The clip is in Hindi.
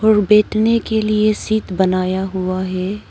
और बैठने के लिए सीट बनाया हुआ है।